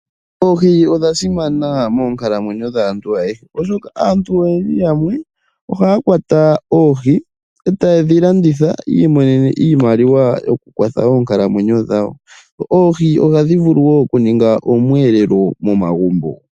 Oohi odha simana moonkalamwenyo dhaantu ayehe, oshoka aantu oyendji yamwe ohaya kwata oohi e taye dhi landitha yi imonene iimaliwa yokukwatha oonkalamwenyo dhawo. Oohi ohadhi vulu wo okuninga oomweelelo momagumbo.